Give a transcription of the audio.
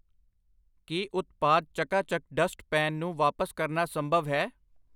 ਕੀ ਉਤਪਾਦ Chakka Chak dust pan ਨੂੰ ਵਾਪਸ ਕਰਨਾ ਸੰਭਵ ਹੈ?